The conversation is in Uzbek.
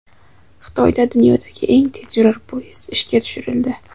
Xitoyda dunyodagi eng tezyurar poyezd ishga tushirildi.